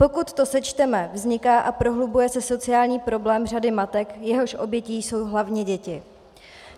Pokud to sečteme, vzniká a prohlubuje se sociální problém řady matek, jehož obětí jsou hlavně děti.